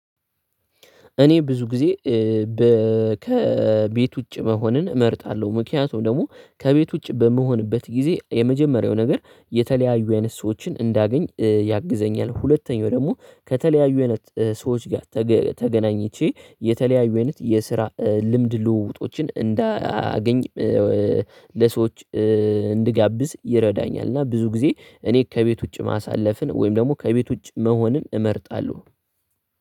እኔ ብዙ ጊዜ ከቤት ውጪ መሆንን እመርጣለሁ። ምክንያቱም ደግሞ ከቤት ውጪ በምሆንበት ጊዜ የመጀመሪያው ነገር የተለያዩ አይነት ሰዎችን እንዳገኝ ያግዘኛል። ሁለተኛው ደግሞ ከተለያዩ አይነት ሰዎች ጋር ተገናኝቼ የተለያዩ አይነት የስራ ልምድ ልውውጦችን እንዳያገኝ ለሰዎች እንድጋብዝ ይረዳኛል። እና ብዙ ጊዜ እኔ ከቤት ውጪ ማሳለፍን ወይም ደግሞ ከቤት ውጪ መሆንም እመርጣለሁ